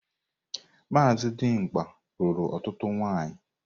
Maazị Dimgba lụrụ ọtụtụ nwaanyị.